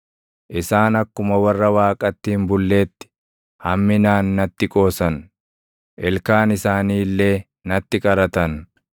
Isaan akkuma warra Waaqatti hin bulleetti hamminaan natti qoosan; ilkaan isaanii illee natti qaratan.